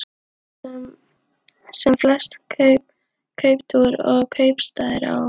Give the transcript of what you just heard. Eyrarnar, sem flest kauptún og kaupstaðir á